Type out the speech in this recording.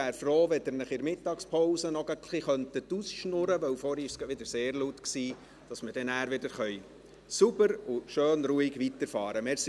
Ich wäre froh, wenn Sie sich in der Mittagspause ein bisschen ausschwatzen könnten – vorhin war es gerade wieder sehr laut –, sodass wir nachher sauber und schön ruhig weiterfahren können.